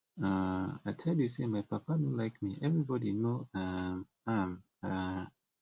um i dey tell you say my papa no like me everybody no um am um